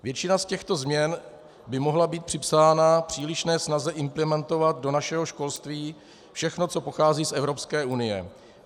Většina z těchto změn by mohla být připsána přílišné snaze implementovat do našeho školství všechno, co pochází z Evropské unie.